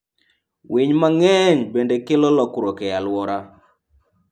Winy mang'eny bende kelo lokruok e alwora.